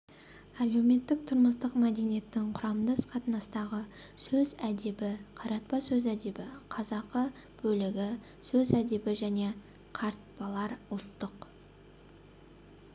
әлеуметтік-тұрмыстық мәдениетінің құрамдас қатынастағы сөз әдебі қаратпа сөз әдебі қазақы бөлігі сөз әдебі және қаратпалар ұлттық